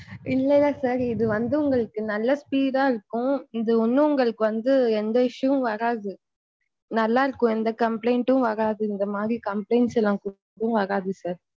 இல்ல இல்ல sir இது வந்து நல்ல speed இருக்கும் இது ஒன்னும் உங்கள்ளுக்கு வந்து எந்த issue யும் வராது நல்லா இருக்கும் எந்த complaint யும் வராது இந்த மாதிரி complaint லாம் வராது sir.